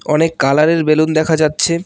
অনেক কালার -এর বেলুন দেখা যাচ্ছে।